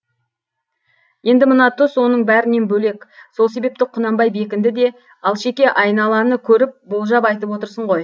енді мына тұс оның бәрінен бөлек сол себепті құнанбай бекінді де алшеке айналаны көріп болжап айтып отырсын ғой